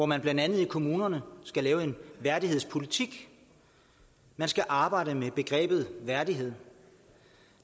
man blandt andet i kommunerne skal lave en værdighedspolitik man skal arbejde med begrebet værdighed